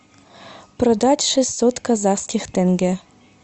продать шестьсот казахских тенге